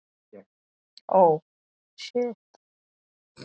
Hvar fannstu þetta?